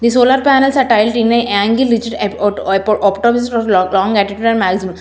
The solar panels are tiled in a angle reached --